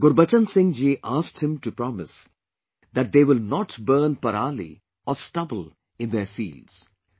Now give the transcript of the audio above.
Gurbachan Singh ji asked him to promise that they will not burn parali or stubble in their fields